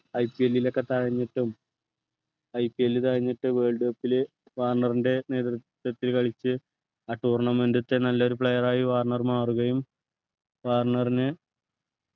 IPL ഒക്കെ തഴഞ്ഞുയിട്ടും IPL തഴഞ്ഞിയിട്ടു world cup ലു വാർണറിൻ്റെ നേതൃത്വത്തിൽ കളിച്ചു ആ tournament ത്തെ നല്ലയൊരു player ആയി വാർണർ മാറുകയും വാർണർനെ